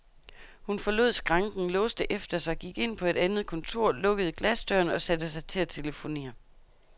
Hun forlod skranken, låste efter sig, gik ind på et andet kontor, lukkede glasdøren og satte sig til at telefonere.